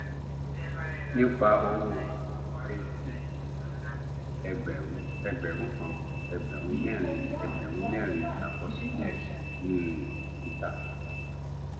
nípa owó ac ẹgbẹrún ẹgbẹrún kan ẹgbẹrún mẹrin ẹgbẹrún mẹrin àkọsílẹ um títà